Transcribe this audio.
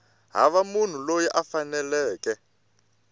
hava munhu loyi a faneleke